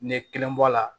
Ne kelen bɔ a la